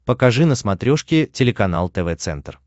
покажи на смотрешке телеканал тв центр